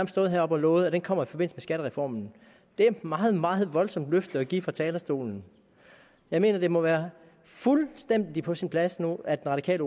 stået heroppe og lovet kommer som en skattereformen det er et meget meget voldsomt løfte at give fra talerstolen jeg mener det må være fuldstændig på sin plads nu at det radikale